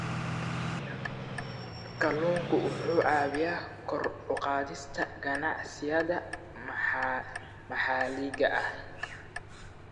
Kalluunku wuxuu caawiyaa kor u qaadista ganacsiyada maxalliga ah.